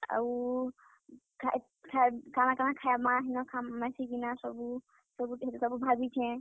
ଆଉ ଖା~,ଖାଏ, କାଣା କାଣା ଖାଏମା ମିଶିକିନା ସବୁ, ସବୁ ଭାବିଛେଁ।